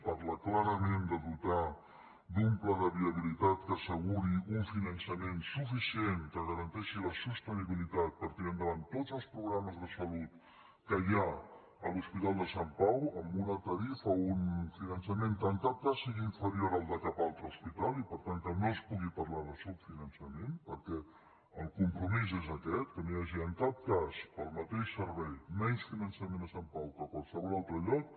parla clarament de dotar d’un pla de viabilitat que asseguri un finançament suficient que garanteixi la sostenibili·tat per tirar endavant tots els programes de salut que hi ha a l’hospital de sant pau amb una tarifa un fi·nançament que en cap cas sigui inferior al de cap altre hospital i per tant que no es pugui parlar de subfinan·çament perquè el compromís és aquest que no hi ha·gi en cap cas per al mateix servei menys finançament a sant pau que a qualsevol altre lloc